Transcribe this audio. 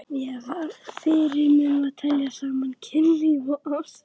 Mér var fyrirmunað að tengja saman kynlíf og ást.